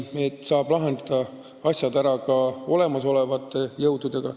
Asjad saab ära lahendada ka olemasolevate jõududega.